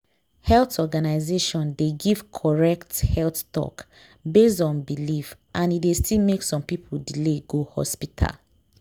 health organization dey give correct health talk based on belief and e dey still make some people delay go hospital.